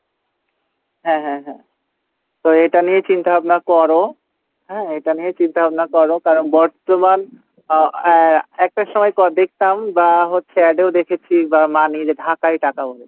হ্যাঁ হ্যাঁ হ্যাঁ তো এটা নিয়ে চিন্তাভাবনা করো হ্যাঁ এটা নিয়েই চিন্তা ভাবনা করো কারণ বর্তমান আহ আহ একটা সময় ক দেখতাম বা হচ্ছে ad এও দেখেছি